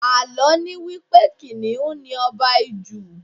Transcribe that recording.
Àlọ́ ni wípé Kìnnìún ni Ọba Ijù.